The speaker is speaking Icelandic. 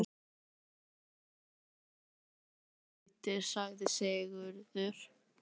Kýrnar verða að fá fóðurbæti, sagði Sigurður.